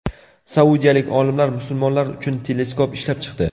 Saudiyalik olimlar musulmonlar uchun teleskop ishlab chiqdi.